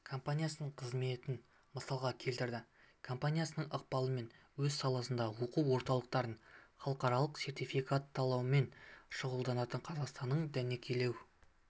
компаниясының қызметін мысалға келтірді компаниясының ықпалымен өз саласындағы оқу орталықтарын халықаралық сертификаттаумен шұғылданатын қазақстанның дәнекерлеу